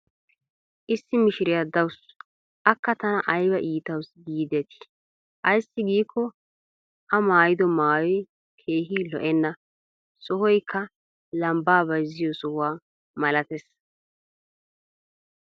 issi mishiriya dawusu. akka tana aybba iitawusu giidetii. ayssi giikko a maayido maayoy keehi lo'enna. sohoykka lambaa bayzziyo sohuwa malatees.